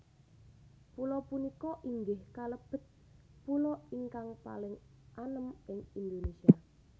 Pulo punika inggih kalebet pulo ingkang paling anem ing Indonésia